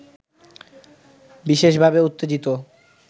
বিশেষভাবে উত্তেজিত